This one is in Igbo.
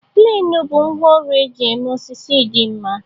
Pleenu bụ ngwá ọrụ eji eme osisi di nma.